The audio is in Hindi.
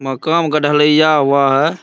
मकान का ढलिया हुआ है|